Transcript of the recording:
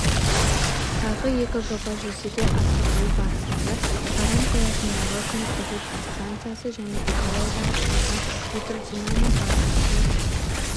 тағы екі жоба жүзеге асырылу барысында саран қаласындағы күн электр станциясы және экологиялық таза гидродинамикалық сұйық